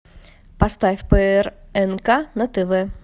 поставь прнк на тв